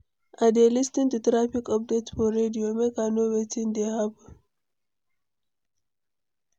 I dey lis ten to traffic update for radio, make I know wetin dey happen.